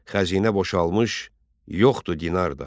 Xəzinə boşalmış, yoxdur dinar da.